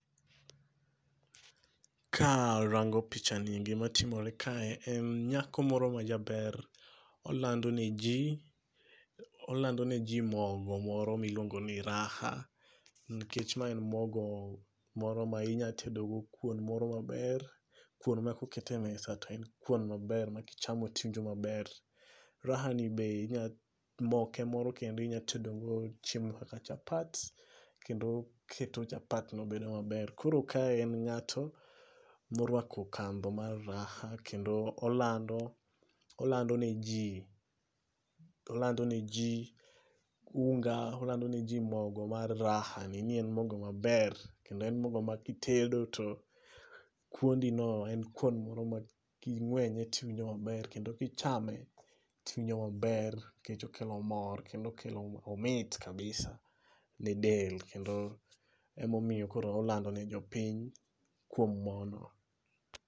ka arango pichani gimatimore kae en nyako moro majaber, olando ne jii, olando ne jii mogo moro miluongo ni Raha, nikech ma en mogo moro ma inyatedo go kuon moro maber. Kuon ma kokete e mesa to en kuon maber ma kichamo tiwinjo maber. Raha ni be inya moke moro kendo inyatedogo chiemo kaka chapat, kendo oketo chapat no bedo maber. Koro kae en ng'ato, morwako kandho mar Raha kendo olando olando ne jii olando ne jii unga olando ne jii mogo mar Raha ni ni en mogo maber, kendo en mogo makitedo to kuondi no en kuon moro ma king'wenye tiwinjo maber kendo kichame tiwinjo maber nikech okelo mor kendo okelo omit kabisa ne del kendo, emomiyo koro olando ne jopiny, kuom mono